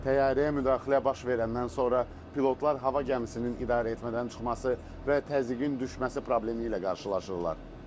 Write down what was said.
Təyyarəyə müdaxilə baş verəndən sonra pilotlar hava gəmisinin idarəetmədən çıxması və təzyiqin düşməsi problemi ilə qarşılaşırlar.